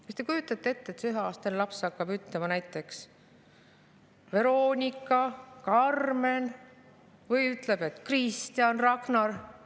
Kas te kujutate ette, et see üheaastane laps hakkab ütlema näiteks, et Veronika või Karmen, või ütleb, et Kristjan või Ragnar?